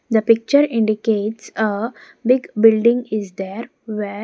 the picture indicates a big building is there where --